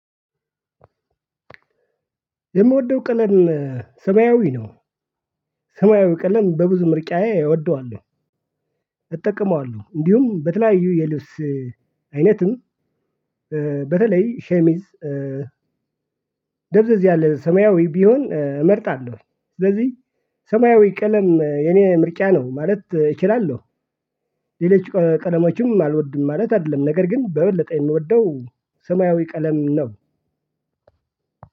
የምወደው ቀለም ሰማያዊ ነው። ሰማያዊ ቀለም በብዙ ምርጫዬ እወደዋለሁ። እጠቀመዋለሁ እንዲሁም በተለያዩ የልብስ አይነትም በተለይ ሸሚዝ ደብዘዝ ያለ ሰማያዊ ቢሆን እመርጣለሁ። ስለዚህ ሰማያዊ ቀለም የኔ ምርጫ ነው ማለት እችላለሁ። ሌሎች ቀለሞችም አልወድም ማለት አይደለም ነገር ግን በበለጠ የምወደው ሰማያዊ ቀለም ነው።